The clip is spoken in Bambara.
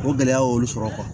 O gɛlɛya y'olu sɔrɔ